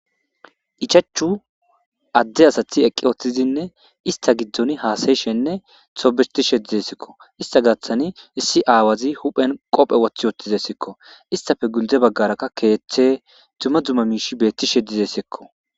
Ichachu adde asathi eqqi woththizinne ista giddon haasayishenne sobistishe dizessekko ista gathani issi aawazi huphen qophe woththi wooththizessikko istafe guldze baggarakka keeththe dumma dzuma miish beetti she dizessekko.